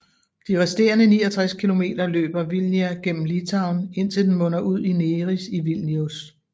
De resterende 69 km løber Vilnia gennem Litauen indtil den munder ud i Neris i Vilnius